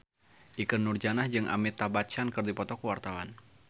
Ikke Nurjanah jeung Amitabh Bachchan keur dipoto ku wartawan